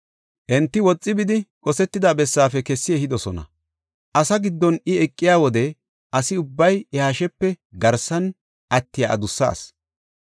Enti woxi bidi, qosetida bessaafe kessi ehidosona. Asaa giddon I eqiya wode asi ubbay iya hashepe garsara attiya adussa asi.